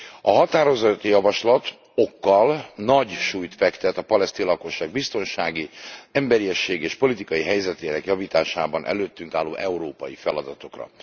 A határozati javaslat okkal nagy súlyt fektet a palesztin lakosság biztonsági, emberiességi és politikai helyzetének javításában előttünk álló európai feladatokra.